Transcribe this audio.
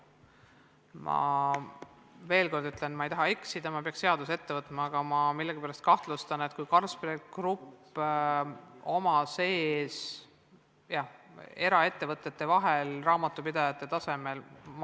Ma ütlen veel kord, et ma ei taha eksida ja peaksin seaduse ette võtma, aga ma millegipärast kahtlustan, et kui on tegemist Carlsberg Groupiga ja nende sise- või eraettevõtete vahelise suhtlusega raamatupidajate tasemel, siis võib siin olla mingi teine alus.